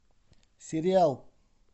сериал